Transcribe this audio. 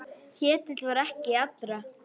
Ketill var ekki allra.